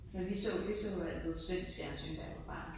Ja vi så vi så altid svensk fjernsyn da jeg var barn